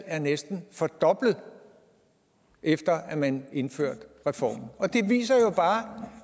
er næsten fordoblet efter at man indførte reformen det viser jo bare